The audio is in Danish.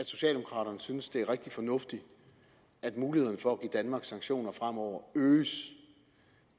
socialdemokraterne synes det er rigtig fornuftigt at mulighederne for at give danmark sanktioner fremover øges